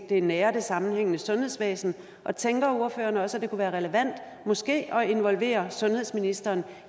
det nære og det sammenhængende sundhedsvæsen og tænker ordføreren også at det kunne være relevant måske at involvere sundhedsministeren